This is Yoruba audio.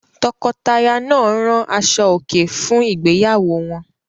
Tọkọtaya náà rán aṣọòkè fún ìgbéyàwó wọn?